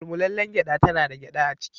Mullmulalen gyada tana da gyada a ciki.